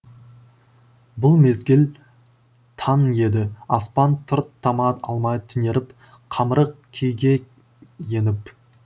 бұл мезгіл таң еді аспан тұр тама алмай түнеріп қамырық күйге еніп